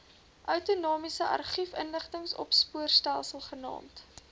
outomatiese argiefinligtingsopspoorstelsel genaamd